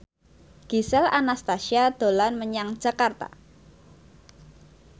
Gisel Anastasia dolan menyang Jakarta